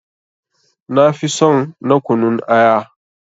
Nafi son na kunun aya.